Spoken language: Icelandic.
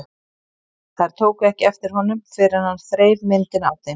Þær tóku ekki eftir honum fyrr en hann þreif myndina af þeim.